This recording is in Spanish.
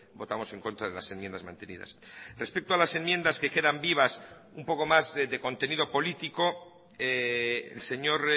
votamos en contra de las enmiendas mantenidas respecto a las enmiendas que quedan vivas un poco más de contenido político el señor